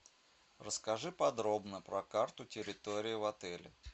расскажи подробно про карту территории в отеле